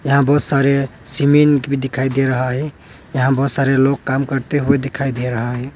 यहाँ बहुत सारे सीमेंट भी दिखाई दे रहा है यहां बहुत सारे लोग काम करते हुए दिखाई दे रहा है।